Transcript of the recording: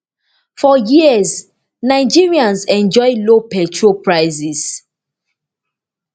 for years nigerians enjoy low petrol prices